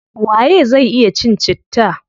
Waye zai iya cin citta?